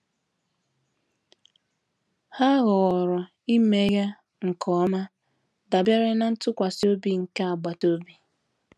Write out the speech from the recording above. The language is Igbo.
Ha họọrọ imeghe nke ọma, dabere na ntụkwasị obi nke agbata obi.